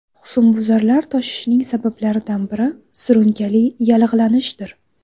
Husnbuzarlar toshishining sabablaridan biri surunkali yallig‘lanishdir.